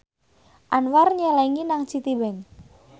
Anwar nyelengi nang Citibank